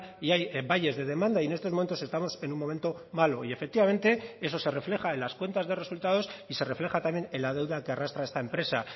y hay valles de demanda y en estos momentos estamos en un momento malo y efectivamente eso se refleja en las cuentas de resultados y se refleja también en la deuda que arrastra esta empresa